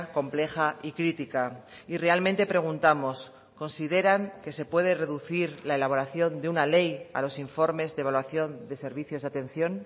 compleja y critica y realmente preguntamos consideran qué se puede reducir la elaboración de una ley a los informes de evaluación de servicios de atención